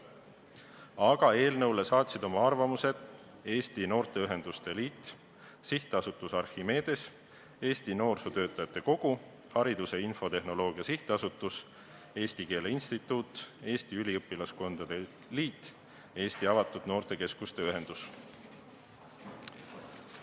Aga eelnõu kohta saatsid oma arvamused Eesti Noorteühenduste Liit, SA Archimedes, Eesti Noorsootöötajate Kogu, Hariduse Infotehnoloogia SA, Eesti Keele Instituut, Eesti Üliõpilaskondade Liit ja Eesti Avatud Noortekeskuste Ühendus.